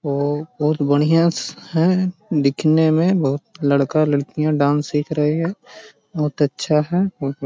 वो बहुत भड़िया है दिखने में बहुत लड़का लड़कियाँ डाँस सिख रही है बहुत अच्छा है | बहुत --